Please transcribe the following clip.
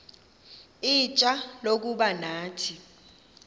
ixfsha lokuba nathi